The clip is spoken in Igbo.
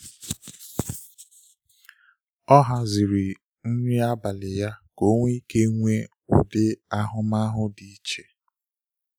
Ọ haziri nri abalị ya ka o nwe ike inwe ụdị ahụmahụ dị iche